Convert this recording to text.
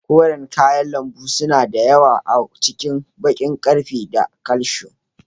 Koren kayan lambu suna da yawa a cikin baƙin ƙarfe da calcium.